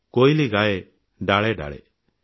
କୋଇଲି ଗାଏ ଡାଳେ ଡାଳେ